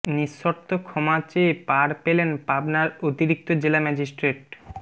নিঃশর্ত ক্ষমা চেয়ে পার পেলেন পাবনার অতিরিক্ত জেলা ম্যাজিস্ট্রেট